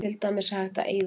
Til dæmis er hægt að eyða